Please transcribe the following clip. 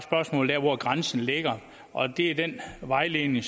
hvor grænsen ligger og det er den vejledning